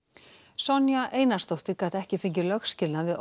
Sonja Einarsdóttir gat ekki fengið lögskilnað við